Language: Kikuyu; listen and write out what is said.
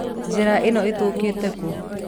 Njĩra ĩno ĩthiĩte kũ?